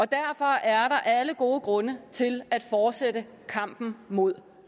derfor er der alle gode grunde til at fortsætte kampen mod